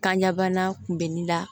Kan ɲɛbana kun bɛ nin la